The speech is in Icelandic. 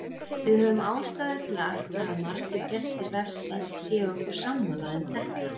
Við höfum ástæðu til að ætla að margir gestir vefsins séu okkur sammála um þetta.